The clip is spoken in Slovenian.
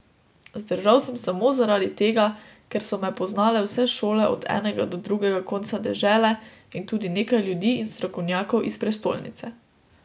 Vzdržal sem samo zaradi tega, ker so me poznale vse šole od enega do drugega konca dežele in tudi nekaj ljudi in strokovnjakov iz prestolnice.